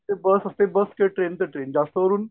बस असतें बस ते ट्रेन ते ट्रेन जास्त करून